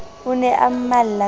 o ne a mmalla ka